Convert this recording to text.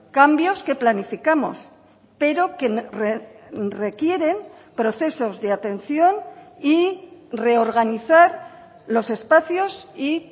cambios que planificamos pero que requieren procesos de atención y reorganizar los espacios y